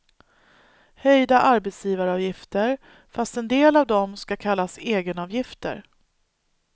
Höjda arbetsgivaravgifter, fast en del av dem ska kallas egenavgifter.